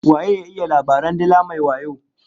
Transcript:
Waye ya iya labaran dila mai wayo?